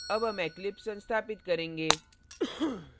अब हम eclipse संस्थापित करेंगे